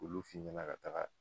Olu f'i ɲɛna ka kaga